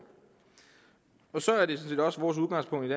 og så er det sådan set også vores udgangspunkt